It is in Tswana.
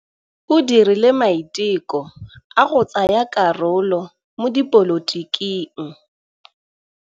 O dirile maitekô a go tsaya karolo mo dipolotiking.